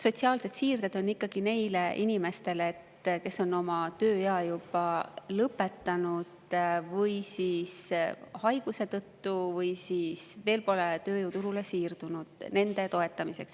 Sotsiaalsed siirded on ikkagi neile inimestele, kelle või kes haiguse tõttu või kes veel pole tööjõuturule siirdunud – nende toetamiseks.